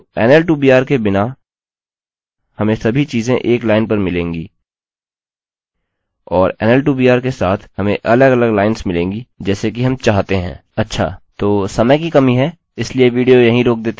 तो nl2br के बिना हमें सभी चीज़ें एक लाइन पर मिलेंगी और nl2br के साथ हमें अलगअलग लाइन्स मिलेंगी जैसे कि हम चाहते हैं